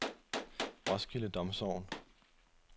Roskilde Domsogn